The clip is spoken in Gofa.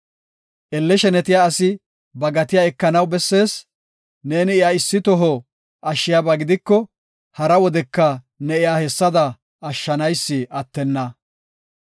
Elle shenetiya asi ba gatiya ekanaw bessees; neeni iya issi toho ashshiyaba gidiko, hara wodeka ne iya hessada ashshanaysi attenna.